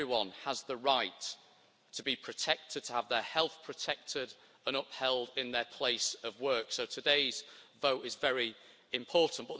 Everyone has the right to be protected and to have their health protected and upheld in their place of work, so today's vote is very important.